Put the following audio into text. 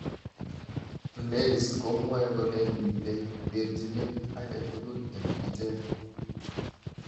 LAYS komwae kole mitei terjinet agetugul eng ichek.